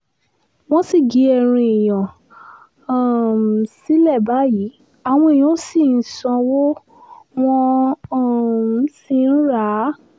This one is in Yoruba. wọ́n sì gé ẹran èèyàn um sílẹ̀ báyìí àwọn èèyàn ṣì ń sanwó wọ́n um sì ń rà á